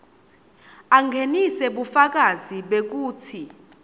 angenise bufakazi bekutsi